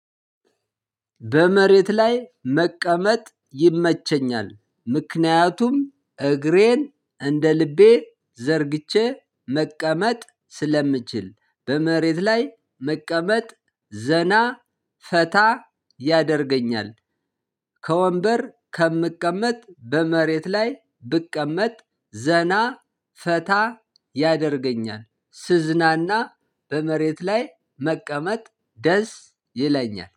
በመሬት ላይ መቀመጥ ይመቸኛል ምክንያቱም እግሬን እንደ ልቤ ዘርግቼ መቀመጥ ስለምችል በመሬት ላይ መቀመጥ ዘና ፈታ ያደርገኛል። ከወንበር ከምቀመጥ በመሬት ላይ ብቀመጥ ዘና ፈታ ያደርገኛል ስዝናና በመሬት ላይ መቀመጥ ደስ ይለኛል